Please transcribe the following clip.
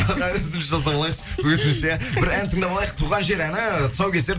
үзіліс жасап алайықшы өтініш иә бір ән тыңдап алайық туған жер әні тұсаукесер